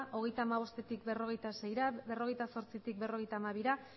hogeita hamabostetik berrogeita seira berrogeita zortzitik berrogeita hamabira